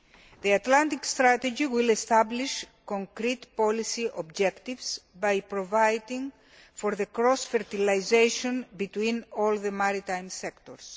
The Atlantic strategy will establish concrete policy objectives by providing for cross fertilisation between all the maritime sectors.